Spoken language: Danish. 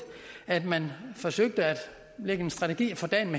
at man forsøgte at lægge en strategi for dagen